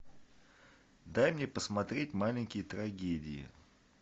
дай мне посмотреть маленькие трагедии